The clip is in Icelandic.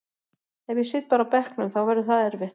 Ef ég sit bara á bekknum þá verður það erfitt.